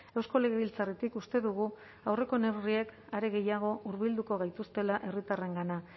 eusko legebiltzarretik uste dugu aurreko neurriek are gehiago hurbilduko gaituztela herritarrengana